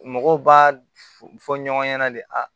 Mɔgɔw b'a f fɔ ɲɔgɔn ɲɛna de